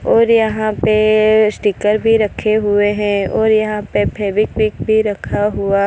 और यहां पे स्टीकर भी रखे हुए हैं और यहां पे फेविक्विक भी रखा हुआ --